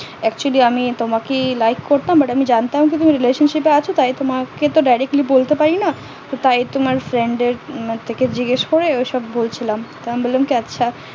actually আমি তোমাকে like করতাম but আমি জানতাম তুমি relationship এ আছো তাই তোমাকে তো directly বলতে পারি না তাই তোমার friend দের থেকে জিজ্ঞাস করে ওই সব বলছিলাম আমি বললাম আচ্ছা